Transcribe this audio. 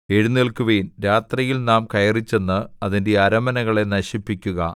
എഴുന്നേല്ക്കുവിൻ രാത്രിയിൽ നാം കയറിച്ചെന്ന് അതിന്റെ അരമനകളെ നശിപ്പിക്കുക